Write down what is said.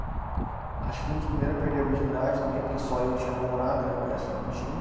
Acho que fui um dos primeiro a perder a virgindade também, porque só eu tinha namorada né, o resto não tinha.